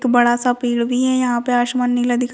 एक बड़ा सा पेड़ भी है यहाँ पर आसमान नीला दिख--